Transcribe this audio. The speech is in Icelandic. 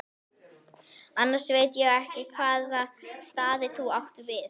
Annars veit ég ekki hvaða staði þú átt við.